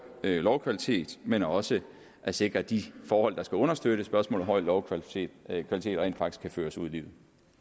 lovkvalitet men også sikrer at de forhold der skal understøtte spørgsmålet om høj lovkvalitet rent faktisk kan føres ud i livet